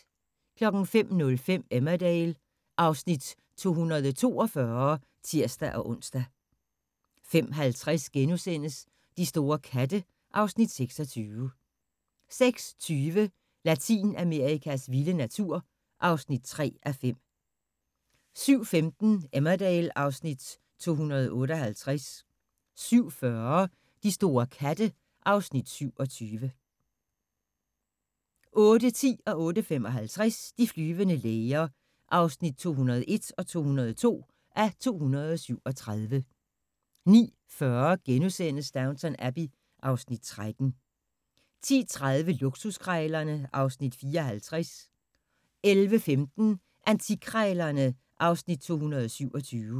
05:05: Emmerdale (Afs. 242)(tir-ons) 05:50: De store katte (Afs. 26)* 06:20: Latinamerikas vilde natur (3:5) 07:15: Emmerdale (Afs. 258) 07:40: De store katte (Afs. 27) 08:10: De flyvende læger (201:237) 08:55: De flyvende læger (202:237) 09:40: Downton Abbey (Afs. 13)* 10:30: Luksuskrejlerne (Afs. 54) 11:15: Antikkrejlæerne (Afs. 227)